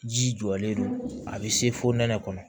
Ji jɔlen don a bɛ se fo nɛnɛ kɔnɔ